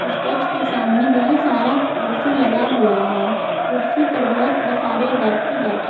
stage के सामने बहुत सारा कुर्सी लगा हुआ है कुर्सी पर बहुत सारे व्यक्ति बैठे--